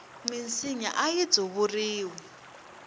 minsinya ayi tsuvuriwi